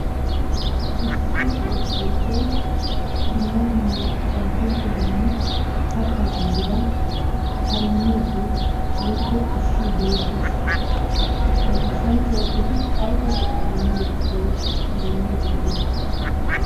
Issi goshshanchchay dumma dumma ataakilttetanne kattaa ayifeta harummiiddi woyikko ushshiiddi beettes. Ha goshshanchchay eti ayiba go'aa immiyo gishshawu harummiiddi de'i?